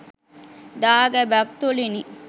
දාගැබක් තුළිනි.